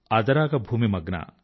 అదరాగ భూమి మగ్న